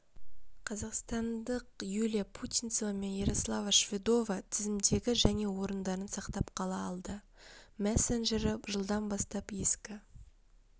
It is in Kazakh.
қазақстандық юлия путинцева мен ярослава шведова тізімдегі және орындарын сақтап қала алды мессенджері жылдан бастап ескі